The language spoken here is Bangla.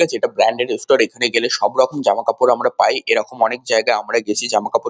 দেখছি এটা ব্র্যান্ডেদ এখানে গেলে সবরকম জামাকাপড় আমরা পাই এরকম অনেক জায়গা আমরা গেছি জামাকাপড় ।